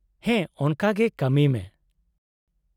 -ᱦᱮᱸ ᱾ ᱚᱱᱟᱠᱟ ᱜᱮ ᱠᱟᱹᱢᱤᱭ ᱢᱮ ᱾